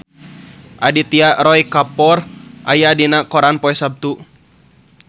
Aditya Roy Kapoor aya dina koran poe Saptu